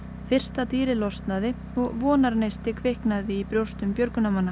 fyrsta dýrið losnaði og vonarneisti kviknaði í brjóstum björgunarmanna